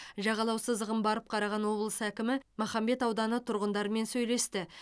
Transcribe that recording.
жағалау сызығын барып қараған облыс әкімі махамбет ауданы тұрғындарымен сөйлесті